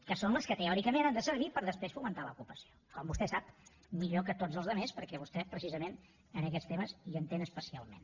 que són les que teòricament han de servir per després fomentar l’ocupació com vostè sap millor que tots els altres perquè vostè precisament en aquests temes hi entén especialment